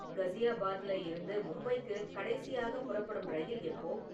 கஸியாபாத்தில இருந்து மும்பைக்கு கடைசியாக புறப்படும் ரயில் எப்போ?